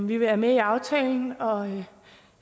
vi vi er med i aftalen og